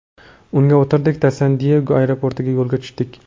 Unga o‘tirdik-da, San-Diyego aeroportiga yo‘lga tushdik.